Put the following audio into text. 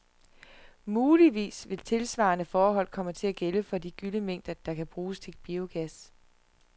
Muligvis vil tilsvarende forhold komme til at gælde for de gyllemængder, der kan bruges til biogas.